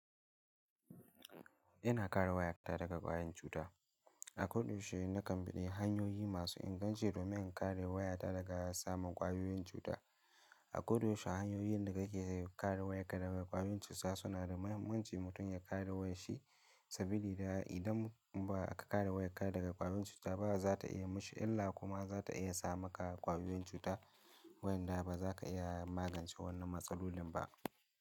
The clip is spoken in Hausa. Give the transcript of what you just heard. Ina kare wayata daga ƙwayoyin cuta. A koda yaushe nakan bi hanyoyi masu inganci domin in kare wayata daga samun kwayoyin cuta. A koda yaushe hanyoyin da kake kare wayarka daga kwayoyin cuta suna da mahimmanci mutum ya kare wayar shi. Saboda idan ba ka kare wayarka daga kwayoyin cuta ba za ta iya mashi, illa kuma za ta iya sa maka kwayoyin cuta wadanda ba za ka iya magance wannan matsalolin ba.